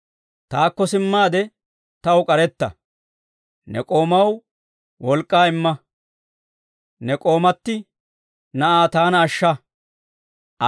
Taakko simmaade taw k'aretta. Ne k'oomaw wolk'k'aa imma; ne k'oomati na'aa taana ashsha.